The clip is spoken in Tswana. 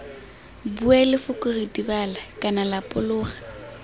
bue lefoko ritibala kana lapologa